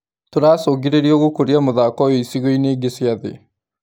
Tũracũngĩrĩrio gũkũria mũthako ũyũ ĩcigoinĩ ingĩ cia thĩ.